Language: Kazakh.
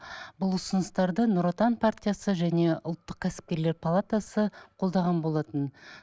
бұс ұсыныстарды нұр отан партиясы және ұлттық кәсіпкерлер палатасы қолдаған болатын